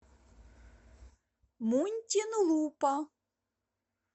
мунтинлупа